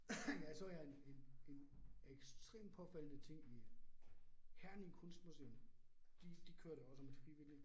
Jeg så jeg en en en ekstremt påfaldende ting i Herning Kunstmuseum, de de kørte også med frivillige